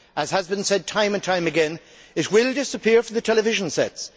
As has been said time and time again, it will disappear from the television sets.